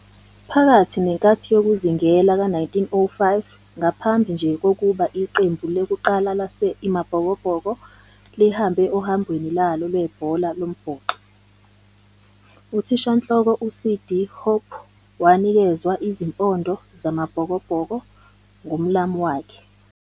Phakathi nenkathi yokuzingela ka-1905, ngaphambi nje kokuba iqembu lokuqala laseiMabhokobhoko lihambe ohambweni lwabo lwe-ibhola lombhoxo, uthishanhloko u-C.D. Hope wanikezwa izimpondo za-Mabhokobhoko ngumlamu wakhe.